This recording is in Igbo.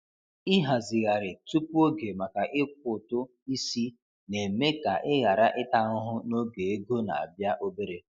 Ịhazigharị tupu oge maka ịkwụ ụtụ isi na-eme ka ị ghara ịta ahụhụ n’oge ego na-abịa obere.